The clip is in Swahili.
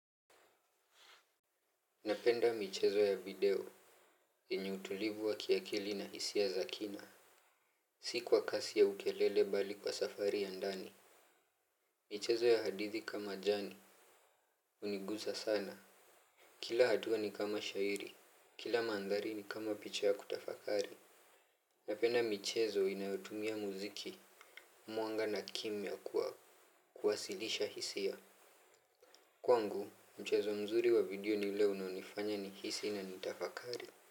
Napenda michezo ya video, yenye utulivu wa kiakili na hisi za kina. Si kwa kasi au kelele bali kwa safari ya ndani. Michezo ya hadithi kama jani, uniguza sana. Kila hatua ni kama shairi, kila mandhari ni kama picha ya kutafakari. Napenda michezo inayotumia muziki, mwanga na kimya kuwasilisha hisia. Kwa pngu, michezo mzuri wa video ni ile unanifanya nihisi na nitafakari.